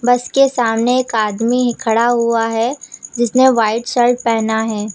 बस के सामने एक आदमी खड़ा हुआ है जिसने व्हाइट शर्ट पेहना है।